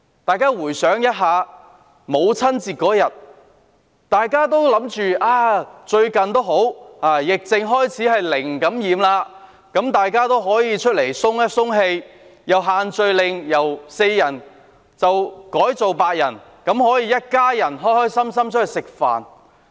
大家回想一下，母親節當天，大家以為最近疫症開始紓緩，本地"零感染"，可以出來透一透氣，而且限聚令由4人改為8人，一家人可以開開心心外出吃飯。